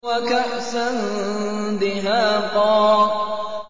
وَكَأْسًا دِهَاقًا